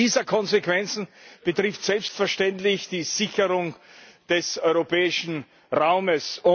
Eine dieser Konsequenzen betrifft selbstverständlich die Sicherung des europäischen Raumes.